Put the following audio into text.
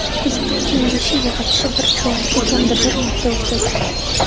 Kuzatuv kengashi yig‘ilishi bir chorakda kamida bir marta o‘tkaziladi.